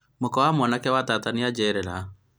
mũka wa mwanake wa tata nĩajerera